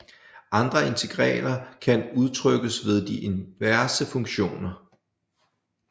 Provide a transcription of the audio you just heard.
Andre integraler kan udtrykkes ved de inverse funktioner